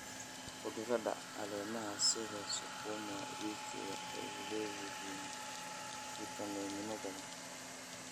Khudradda caleemaha sida sukuma wiki waxay leeyihiin fiitamiino badan.